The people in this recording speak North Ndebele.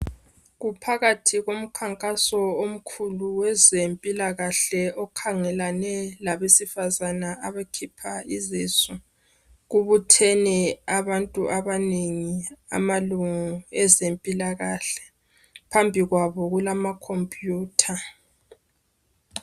Kuphakathi kokhankaso omkhulu wezempilakahle okhangelane labesifazana abakhipha izisu. Kubuthene abantu abanengi amalunga ezempilakahle phambi kwabo kulamakhomputha.